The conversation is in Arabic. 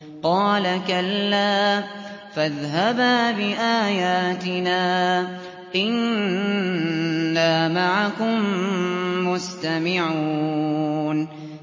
قَالَ كَلَّا ۖ فَاذْهَبَا بِآيَاتِنَا ۖ إِنَّا مَعَكُم مُّسْتَمِعُونَ